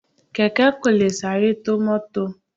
Kẹ̀kẹ́ kò lè sáré tó mọ́tọ̀.